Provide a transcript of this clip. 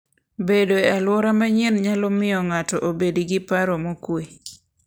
Bedo e alwora manyien nyalo miyo ng'ato obed gi paro mokuwe.